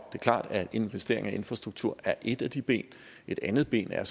klart at investeringer i infrastruktur er et af de ben et andet ben er